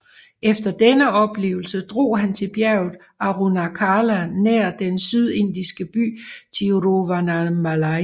Efter denne oplevelse drog han til bjerget Arunachala nær den sydindiske by Tiruvannamalai